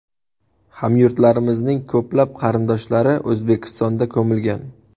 Hamyurtlarimizning ko‘plab qarindoshlari O‘zbekistonda ko‘milgan.